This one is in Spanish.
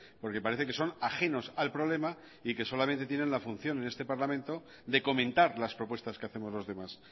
porque parece que son ajenos al problema y que solamente tienen la función en este parlamento de comentar las propuestas que hacemos los demás